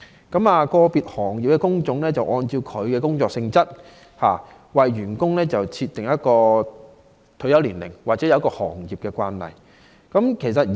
個別行業的工種按其工作性質為員工設定退休年齡，或遵從行業的退休慣例。